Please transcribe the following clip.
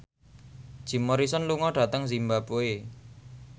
Jim Morrison lunga dhateng zimbabwe